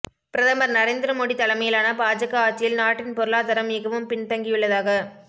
பிரதமர் நரேந்திர மோடி தலைமையிலான பாஜக ஆட்சியில் நாட்டின் பொருளாதாரம் மிகவும் பின்தங்கியுள்ளதாக